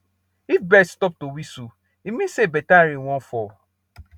if bird stop to whistle e mean say better rain wan fall